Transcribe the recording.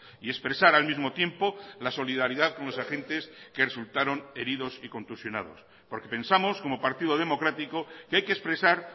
y expresar al mismo tiempo la solidaridad con los agentes que resultaron heridos y contusionados porque pensamos como partido democrático que hay que expresar